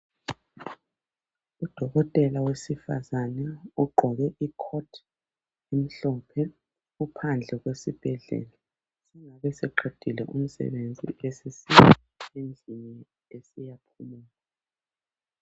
Udokotela wesifazane ogqoke icoat elimhlophe .Uphandle kwesibhedlela .Sengabeseqedile umsebenzi sesiya endlini esiyaphumula .